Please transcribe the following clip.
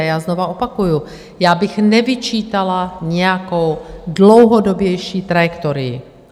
A já znovu opakuji, já bych nevyčítala nějakou dlouhodobější trajektorii.